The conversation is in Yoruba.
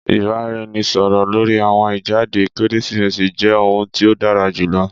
Ìbáraẹnisọ̀rọ̀ lórí àwọn ìjáde Kérésìmesì jẹ́ ohun tí ó dára jùlọ